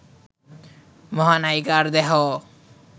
মহানায়িকার দেহ